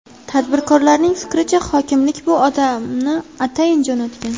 Tadbirkorlarning fikricha, hokimlik bu odamni atayin jo‘natgan.